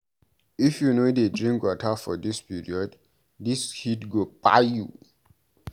If you no dey drink water for dis period, dis heat go kpai you o.